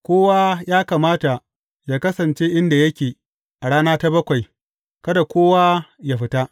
Kowa ya kamata yă kasance inda yake a rana ta bakwai; kada kowa yă fita.